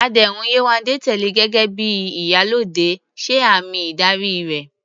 Àdéhùn Yewande tẹ́lẹ̀ gẹ́gẹ́ bí "Iyalode" ṣe àmì ìdarí rẹ̀